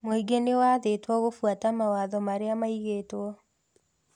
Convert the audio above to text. Mũingĩ nĩ wathĩtwo gũbuata mawatho marĩa maigĩtwo